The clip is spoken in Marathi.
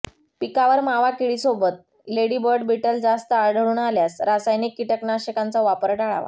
पिकावर मावा किडीसोबत लेडीबर्ड बीटल जास्त आढळून आल्यास रासायनिक किटकनाशकांचा वापर टाळावा